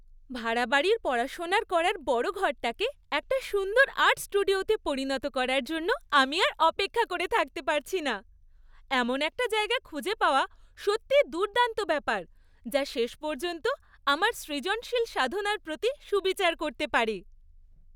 ভাড়া বাড়ির পড়াশোনার করার বড় ঘরটাকে একটা সুন্দর আর্ট স্টুডিওতে পরিণত করার জন্য আমি আর অপেক্ষা করে থাকতে পারছি না! এমন একটা জায়গা খুঁজে পাওয়া সত্যিই দুর্দান্ত ব্যাপার যা শেষ পর্যন্ত আমার সৃজনশীল সাধনার প্রতি সুবিচার করতে পারে।